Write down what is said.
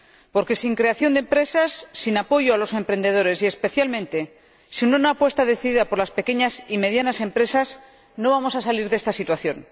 Porque sin creación de empresas, sin apoyo a los emprendedores y, especialmente, sin una apuesta decidida por las pequeñas y medianas empresas, no vamos a salir de esta situación.